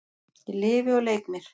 Ég lifi og leik mér.